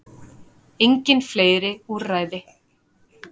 Engin fleiri úrræði